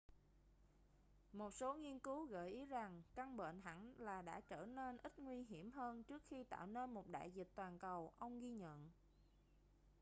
một số nghiên cứu gợi ý rằng căn bệnh hẳn là đã trở nên ít nguy hiểm hơn trước khi tạo nên một đại dịch toàn cầu ông ghi nhận